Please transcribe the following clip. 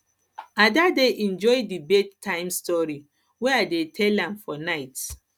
ada dey enjoy the bed time stories wey i dey tell am for night